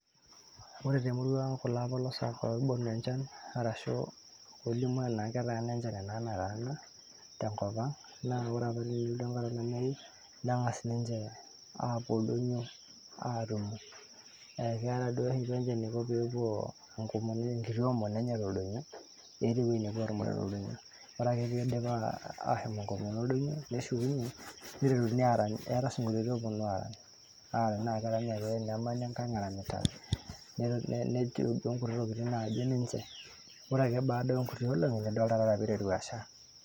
ore temurua ang kulo apolosak oibonu enchan arashu olimu tenaa ketaana enchan enaa metaana tenkop ang naa wore apa tenelotu enkata olameyu neng'as ninche apuo oldonyio atum ekeeta duo oshi ninche eniko peepuo enkomono, enkiti omono enye toldonyo eeta ewueji nepuo atumore toldonyo ore ake piidip ashom enkomono oldonyo neshukunyie niteruni arany eeta isinkolioni oponu arany naa kerany ake nemani enkang eranyita nejo duo nkuti tokitin najo ninche ore ake baada onkuti olong'i nidol taa taata piiteru asha.